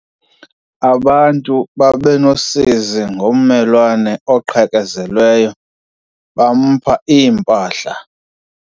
Abantu baba nosizi ngommelwane oqhekezelweyo, bampha impahla.